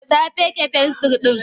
Ta fiƙe fensir ɗin.